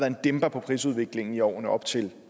en dæmper på prisudviklingen i årene op til